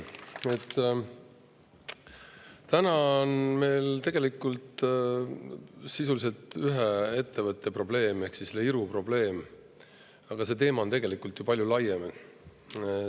Täna on meil probleem sisuliselt ühe ettevõttega ehk Iru, aga see teema on tegelikult ju palju laiem.